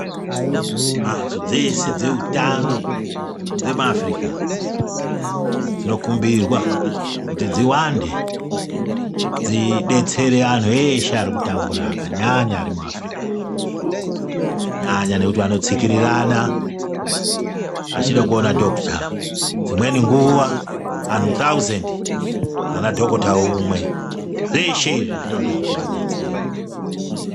Mhatso dzese dzehutano dzemuAfrica dzinokumbirwa kuti dziwande dzidetsere anhu eshe ari kutambura akanyanya ari muAfrica, kunyanya nekuti vanotsikirirana vachide kuona dhokuta. Dzimweni nguwa anhu thauzendi pana dhokota umwe. Zveshe izvi zvinode kuti vadetserwe.